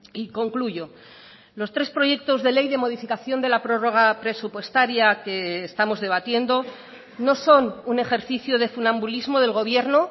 y concluyo los tres proyectos de ley de modificación de la prórroga presupuestaria que estamos debatiendo no son un ejercicio de funambulismo del gobierno